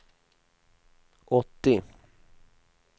åttio